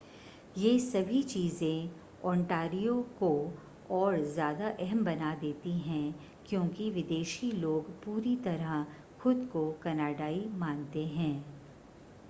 ये सभी चीज़ें ओंटारियो को और ज़्यादा अहम बना देती हैं क्योंकि विदेशी लोग पूरी तरह खुद को कनाडाई मानते हैं